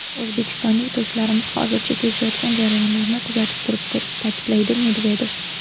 O‘zbekistonlik do‘stlarimiz hozircha kechayotgan jarayonlarni kuzatib turibdi”, ta’kidladi Medvedev.